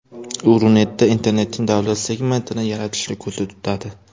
U Runetda internetning davlat segmentini yaratishni ko‘zda tutadi.